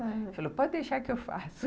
Ele falou, pode deixar que eu faço.